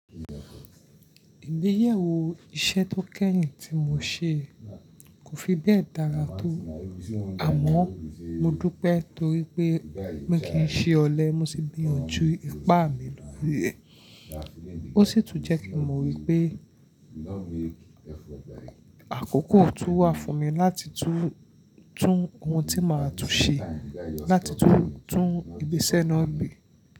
Ìgbéyàwó iṣẹ́ tó kẹ́yìn tí mo ṣe kò fi bẹ́ẹ̀ dára tó, àmọ́ mo dúpẹ́ torí pé mi kì í ṣe ọ̀lẹ, mo sì gbìyànjú ipá mi lórí rẹ̀. Ó sì tún jẹ́ kí mo wí pé àkókò tó wà fún mi láti tún ohun tí máa tún ṣe láti tún ìgbésẹ́ náà gbé.